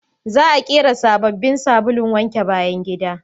Za a ƙera sabobbin sabulun wanke bayan gida